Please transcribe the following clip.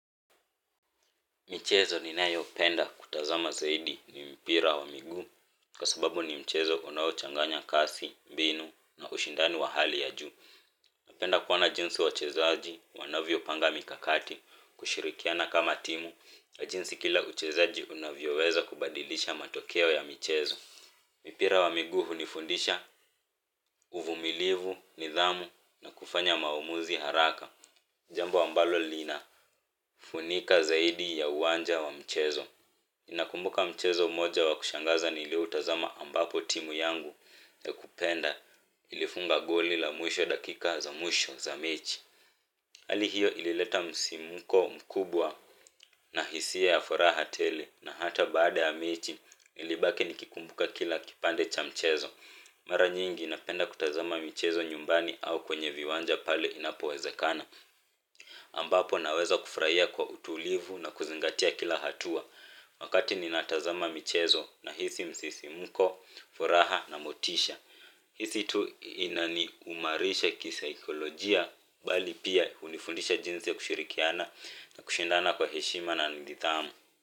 Michezo ninayopenda kutazama zaidi ni mpira wa miguu kwa sababu ni mchezo unaochanganya kasi, mbinu na ushindani wa hali ya juu. Napenda kuona jinsi wachezaji wanavyopanga mikakati, kushirikiana kama timu na jinsi kila mchezaji anavyoweza kubadilisha matokeo ya michezo. Mpira wa miguu hunifundisha uvumilivu, nidhamu na kufanya maamuzi haraka, jambo ambalo linafunika zaidi ya uwanja wa mchezo. Nakumbuka mchezo mmoja wa kushangaza nilioutazama ambapo timu yangu ninayoipenda ilifunga goli la ushindi katika dakika za mwisho za mechi. Hali hiyo ilileta msisimko mkubwa na hisia za furaha tele, na hata baada ya mechi nilibaki nikikumbuka kila kipande cha mchezo. Mara nyingi napenda kutazama mchezo nyumbani au kwenye viwanja pale inapowezekana. Ambapo naweza kufurahia kwa utulivu na kuzingatia kila hatua. Wakati ninatazama michezo, nahisi msisimko, furaha na motisha. Hii sio tu inaimarisha kisaikolojia bali pia hunifundisha jinsi ya kushirikiana na kushindana kwa heshima na nidhamu.